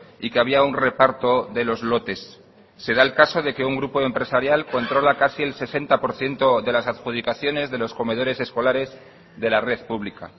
y que había un reparto de los lotes se da el caso de que un grupo empresarial controla casi el sesenta por ciento de las adjudicaciones de los comedores escolares de la red pública